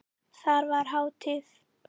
Þar var hátíð.